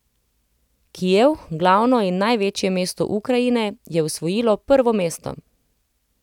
Kijev, glavno in največje mesto Ukrajine, je osvojilo prvo mesto.